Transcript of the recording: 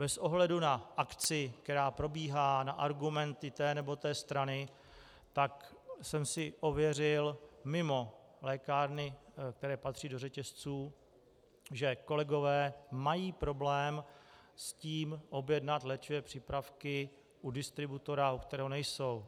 Bez ohledu na akci, která probíhá na argumenty té nebo oné strany, tak jsem si ověřil mimo lékárny, které patří do řetězců, že kolegové mají problém s tím objednat léčivé přípravky u distributora, u kterého nejsou.